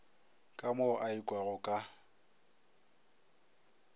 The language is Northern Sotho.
ka mo a ikwago ka